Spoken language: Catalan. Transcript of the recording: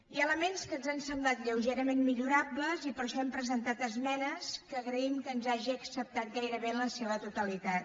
hi ha elements que ens han semblat lleugerament millorables i per això hem presentat esmenes que agraïm que ens hagi acceptat gairebé en la seva totalitat